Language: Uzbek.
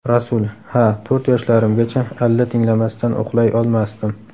Rasul: Ha, to‘rt yoshlarimgacha alla tinglamasdan uxlay olmasdim.